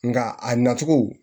Nka a nacogo